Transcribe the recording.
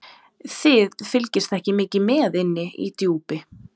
Þið fylgist ekki mikið með inni í Djúpi.